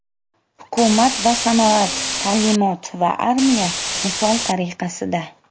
Hukumat va sanoat, ta’limot va armiya, misol tariqasida.